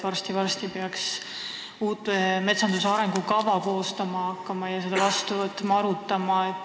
Varsti-varsti peaks hakatama koostama uut metsanduse arengukava.